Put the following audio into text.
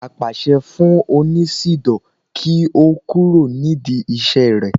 apàṣẹ fún oníṣidò kí ó kúrò nídìí iṣẹ rẹ